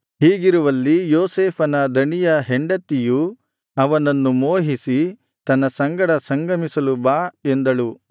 ಹೀಗಿರುವಲ್ಲಿ ಯೋಸೇಫನ ದಣಿಯ ಹೆಂಡತಿಯು ಅವನನ್ನು ಮೋಹಿಸಿ ನನ್ನ ಸಂಗಡ ಸಂಗಮಿಸಲು ಬಾ ಎಂದಳು